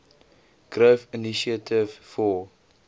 growth initiative for